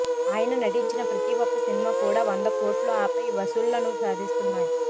ఆయన నటించిన ప్రతి ఒక్క సినిమా కూడా వంద కోట్లు ఆపై వసూళ్లను సాధిస్తున్నాయి